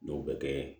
Dɔw bɛ kɛ